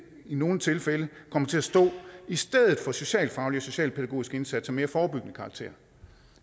i nogle tilfælde kommer til at stå i stedet for socialfaglige og socialpædagogiske indsatser af mere forebyggende karakter